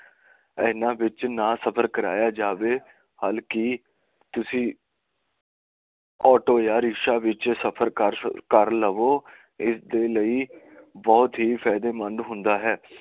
ਇਹਨਾਂ ਵਿਚ ਨਾ ਸਫਰ ਕਰਾਇਆ ਜਾਵੇ ਹਲਕੀ ਤੁਸੀ ਆਟੋ ਜਾਂ ਰਿਕਸ਼ਾ ਵਿਚ ਸਫਰ ਕਰ ਲਵੋ ਇਸ ਲਈ ਬਹੁਤ ਹੀ ਫਾਇਦੇਮੰਦ ਹੁੰਦਾ ਹੈ